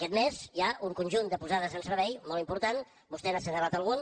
aquest mes hi ha un conjunt de posades en servei molt important vostè n’ha assenyalat alguna